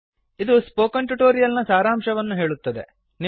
ಇದು spoken tutorial ನ ಸಾರಾಂಶವನ್ನು ಹೇಳುತ್ತದೆ